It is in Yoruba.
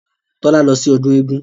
Tọ́lá lọ sí ọdún eégún